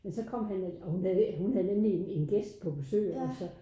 Men så kom han og hun havde hun havde nemlig en gæst på besøg eller sådan